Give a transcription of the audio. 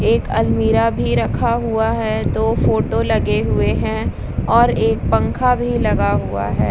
एक अलमीरा भी रखा हुआ है दो फोटो लगे हुए हैं और एक पंखा भी लगा हुआ है।